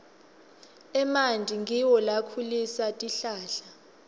emanti ngiwo lakhulisa tihlahla